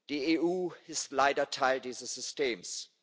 Die EU ist leider Teil dieses Systems.